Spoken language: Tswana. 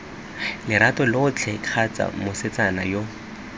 lerato lotlhe kgotsa mosetsana yo